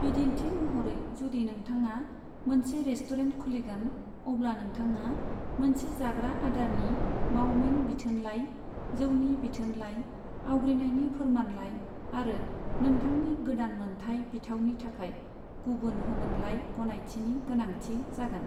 बिदिन्थि महरै, जुदि नोंथाङा मोनसे रेस्टुरेन्ट खुलिगोन, अब्ला नोंथाङा मोनसे जाग्रा आदारनि मावमिन बिथोनलाइ, जौनि बिथोनलाइ, आवग्रिनायनि फोरमानलाइ आरो नोंथांनि गोदान मोनथाइ बिथावनि थाखाय गुबुन होमोनलाइ गनायथिनि गोनांथि जागोन।